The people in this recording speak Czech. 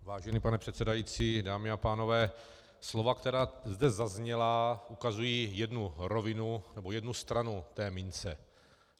Vážený pane předsedající, dámy a pánové, slova, která zde zazněla, ukazují jednu rovinu nebo jednu stranu té mince.